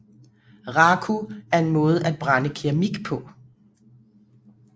Raku er en måde at brænde keramik på